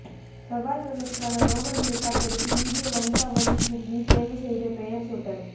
செவ்வாய்கிரகத்துக்கான rover ஹெலிகாப்டருக்கு இந்திய வம்சாவளி சிறுமி தேர்வு செய்த பெயர் சூட்டல்